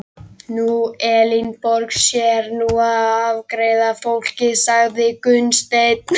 Nú, Elínborg sér nú um að afgreiða fólkið, sagði Gunnsteinn.